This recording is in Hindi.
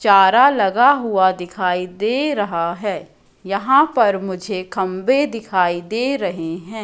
चारा लगा हुआ दिखाई दे रहा है यहां पर मुझे खंभे दिखाई दे रहे हैं।